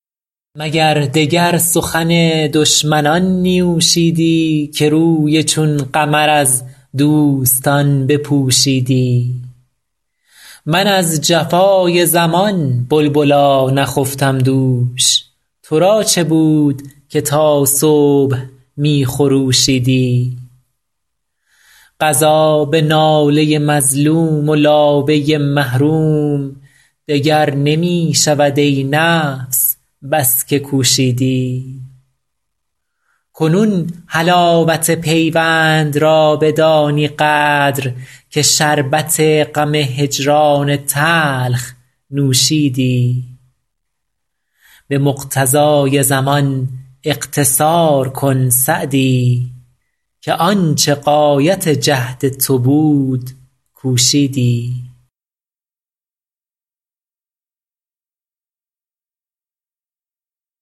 مگر دگر سخن دشمنان نیوشیدی که روی چون قمر از دوستان بپوشیدی من از جفای زمان بلبلا نخفتم دوش تو را چه بود که تا صبح می خروشیدی قضا به ناله مظلوم و لابه محروم دگر نمی شود ای نفس بس که کوشیدی کنون حلاوت پیوند را بدانی قدر که شربت غم هجران تلخ نوشیدی به مقتضای زمان اقتصار کن سعدی که آن چه غایت جهد تو بود کوشیدی